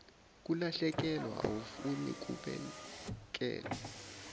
kulahlekelwa awufuni kubekelwe